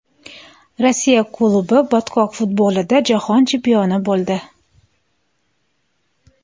Rossiya klubi botqoq futbolida jahon chempioni bo‘ldi .